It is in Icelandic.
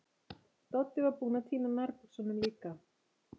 Doddi var búinn að týna nærbuxunum líka.